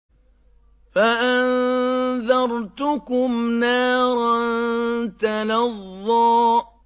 فَأَنذَرْتُكُمْ نَارًا تَلَظَّىٰ